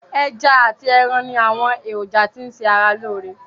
Ẹja ati ẹran ni àwọn èròjà tí n ṣe ara lóore.